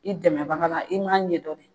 I dɛmɛbaga la i m'a ɲɛdɔn de